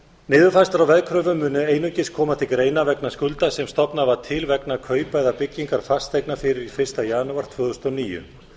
á veðkröfum munu einungis koma til greina vegna skulda sem stofnað var til vegna kaupa eða byggingar fasteigna fyrir fyrsta janúar tvö þúsund og níu